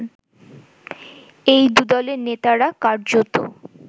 এই দু'দলের নেতারা কার্যত